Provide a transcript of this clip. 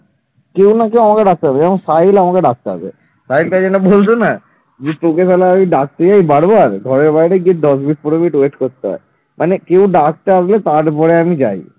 এ তোকে আমি ডাকতে যাই বারবার ঘরের বাইরে দশ থেকে পনেরোমিনিট wait করতে হয়। মানেকেউ ডাকতে আসবে তারপরে আমি যাই।